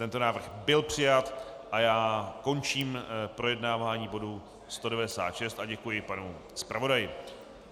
Tento návrh byl přijat a já končím projednávání bodu 196 a děkuji panu zpravodaji.